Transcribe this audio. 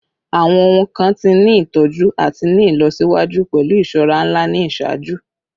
Awọn ohun kan ti ni itọju ati ni ilọsiwaju pẹlu iṣọra nla ni iṣaaju